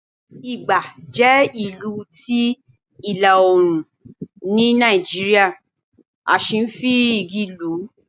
ìgbà jẹ ìlù ti ilá- oorun ní Naijiria, a sí n fi igí lù